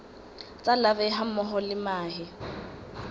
tsa larvae hammoho le mahe